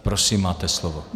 Prosím, máte slovo.